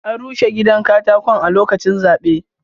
An rushe gidan katakon a lokaci zaɓe.